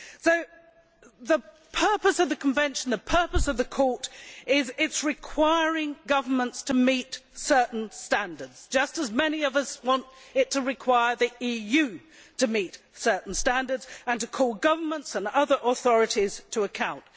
So the purpose of the Convention, the purpose of the Court, is that it requires governments to meet certain standards just as many of us want it to require the EU to meet certain standards and to call governments and other authorities to account.